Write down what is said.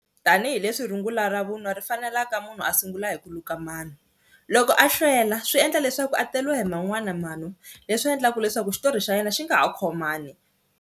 Tanihi leswi rungula ra vunwa ri fanelaka munhu a sungula hi ku luka manu, loko a hlwela swi endla leswaku a teriwa hi man'wana manu leswi endlaka leswaku xitori xa yena xi nga ha khomani.